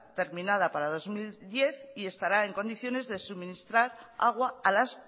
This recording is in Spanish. terminada para dos mil diez y estará en condiciones de suministrar agua a las